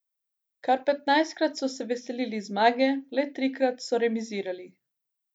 Kar petnajstkrat so se veselili zmage, le trikrat so remizirali.